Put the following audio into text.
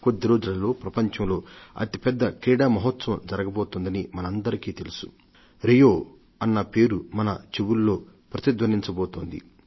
కొద్ది రోజులలో ప్రపంచంలో అతిపెద్ద క్రీడా మహోత్సవం జరగబోతోంది